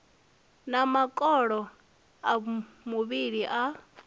na makolo a muvhili a